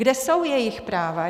Kde jsou jejich práva?